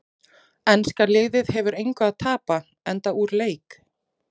Enska liðið hefur að engu að keppa enda úr leik.